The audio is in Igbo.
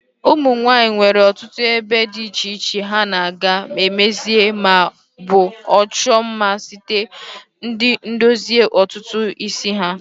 Ụmụnwanyi nwere ọtụtụ ebe di iche iche ha na/aga emezi ma o bu chuo mma site n'idozi ntutu isi ha.